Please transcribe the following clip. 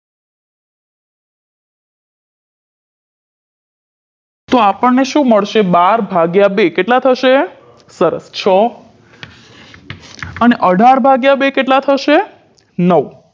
તો આપણને શું મળશે બાર ભાગ્યા બે કેટલા થશે સરસ છ અને અઢાર ભાગ્યા બે કેટલા થશે નવ